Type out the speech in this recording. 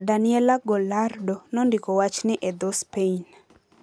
Daniela Gallardo nondiko wachni e dho - Spain.